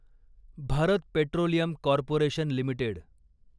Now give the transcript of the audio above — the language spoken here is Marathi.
Bharat Petroleum Corporation limited